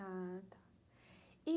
Ah, E